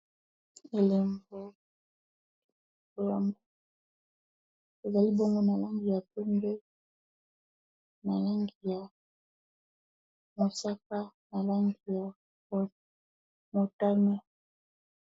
Elembo oyamba ezali bongo we na langi ya pende na langi ya mosaka na langi ya motane